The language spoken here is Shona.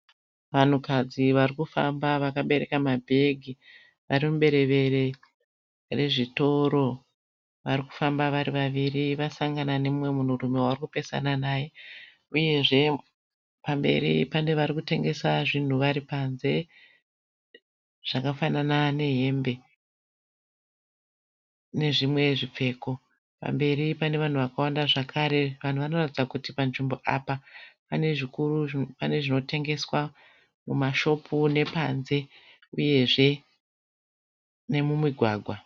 Vanhukadzi varikufamba vakabereka mabhegi varimuberevere rezvitoro. Varikufamba vari vaviri vasangana nemumwe munhurume wavarikupesana naye uyezve pamberi pane varikutengesa zvinhu varipanze zvakafanana nehembe nezvimwe zvipfeko. Pamberi panevanhu vakawanda zvakare. Vanhu vanoratidza kuti panzvimbo apa pane zvikuru pane zvinotengeswa mumashopu panze uyezve nemumigwagwa.